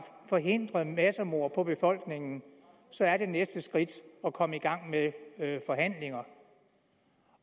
forhindret massemord på befolkningen så er det næste skridt at komme i gang med forhandlinger